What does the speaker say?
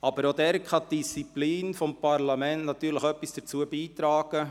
Die Disziplin des Parlaments kann aber auch etwas dazu beitragen.